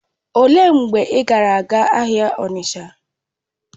Olee mgbe ị gara aga ahịa Onitsha?